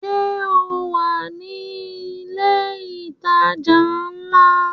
Sọ wà ní ilẹ̀ ìtajà ńlá?